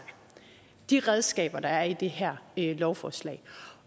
de redskaber der er i det her lovforslag